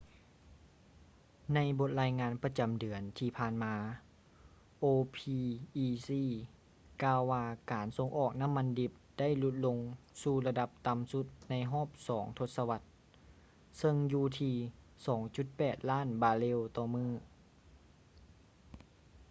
ໃນບົດລາຍງານປະຈຳເດືອນທີ່ຜ່ານມາ opec ກ່າວວ່າການສົ່ງອອກນ້ຳມັນດິບໄດ້ຫຼຸດລົງສູ່ລະດັບຕ່ຳສຸດໃນຮອບສອງທົດສະວັດ ເຊິ່ງຢູ່ທີ່ 2,8 ລ້ານບາເຣວຕໍ່ມື້